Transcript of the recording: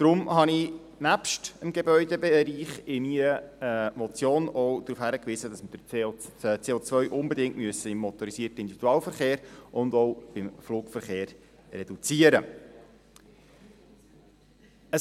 Deshalb habe ich nebst dem Gebäudebereich in meiner Motion auch darauf hingewiesen, dass man das CO unbedingt im motorisierten Individualverkehr (MiV) und auch im Flugverkehr reduzieren muss.